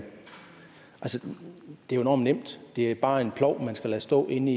det virkelig er enormt nemt det er bare en plov man skal lade stå inde